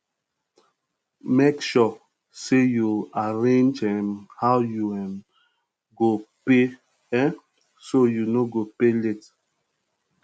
mek sure say yu arrange um how yu um um go pay um so yu no go pay late